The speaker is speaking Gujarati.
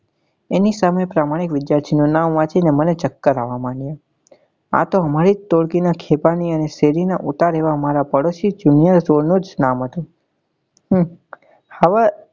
એની સામે પ્રમાણિક વિદ્યાર્થી નું નામ વાંચી ને મને ચક્કર આવવા માંડ્યા આતો અમારી જ ટોળકી નાં અને શેરીના ઓતર એવા અમારા પડોસી Junior એનું નામ હતું.